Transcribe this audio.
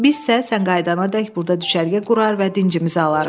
Bizsə sən qayıdanadək burda düşərgə qurar və dincimizi alarıq.